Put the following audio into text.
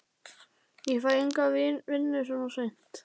Ég fæ enga vinnu svona seint.